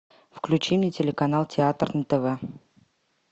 включи мне телеканал театр на тв